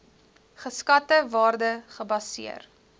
geskatte waarde gebaseer